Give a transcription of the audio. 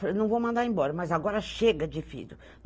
Eu falei, não vou mandar embora, mas agora chega de filho.